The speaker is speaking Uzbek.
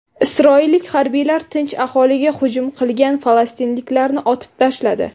Isroillik harbiylar tinch aholiga hujum qilgan falastinliklarni otib tashladi.